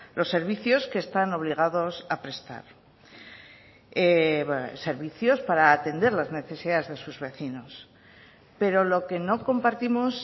los servicios que están obligados a prestar servicios para atender las necesidades de sus vecinos pero lo que no compartimos